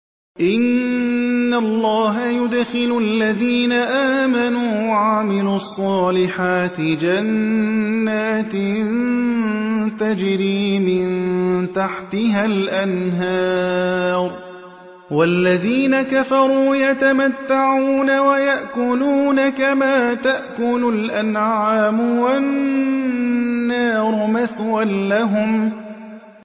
إِنَّ اللَّهَ يُدْخِلُ الَّذِينَ آمَنُوا وَعَمِلُوا الصَّالِحَاتِ جَنَّاتٍ تَجْرِي مِن تَحْتِهَا الْأَنْهَارُ ۖ وَالَّذِينَ كَفَرُوا يَتَمَتَّعُونَ وَيَأْكُلُونَ كَمَا تَأْكُلُ الْأَنْعَامُ وَالنَّارُ مَثْوًى لَّهُمْ